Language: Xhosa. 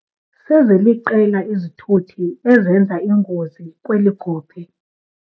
Seziliqela izithuthi ezenza ingozi kweli gophe.